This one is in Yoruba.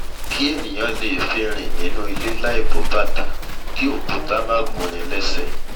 kí ènìà lè fi fi rìn nínú ilé láì bọ bàtà kí òkúta má gún'ni l'ẹ́sẹ̀